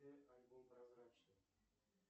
альбом прозрачный